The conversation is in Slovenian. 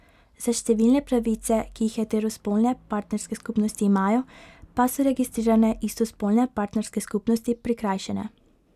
Za številne pravice, ki jih heterospolne partnerske skupnosti imajo, pa so registrirane istospolne partnerske skupnosti prikrajšane.